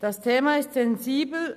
Das Thema ist sensibel;